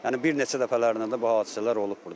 Yəni bir neçə dəfələrində də bu hadisələr olub burda.